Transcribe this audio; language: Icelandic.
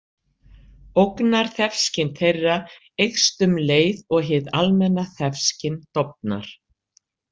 Ógnarþefskyn þeirra eykst um leið og hið almenna þefskyn dofnar.